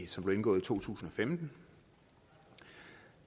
som blev indgået i to tusind og femten